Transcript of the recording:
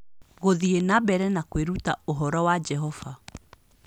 Gũthiĩ na mbere na kwĩruta ũhoro wa Jehova